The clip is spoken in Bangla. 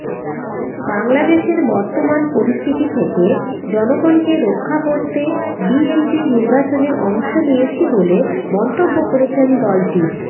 বাংলাদেশের বর্তমান পরিস্থিতি থেকে জনগণকে রক্ষা করতে বিএনপি নির্বাচনে অংশ নিয়েছি বলে মন্তব্য করেছেন দলটির